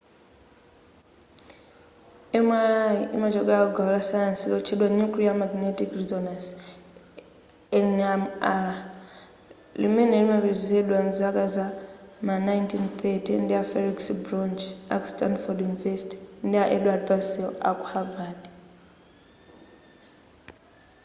mri imachokela ku gawo la sayansi lotchedwa nuclear magnetic resonance nmr limene linapezedwa mzaka za ma 1930 ndi a felix bloch aku stanford universtity ndi a edward purcel aku havard